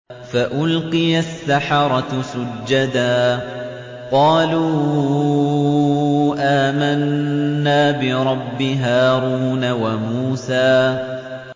فَأُلْقِيَ السَّحَرَةُ سُجَّدًا قَالُوا آمَنَّا بِرَبِّ هَارُونَ وَمُوسَىٰ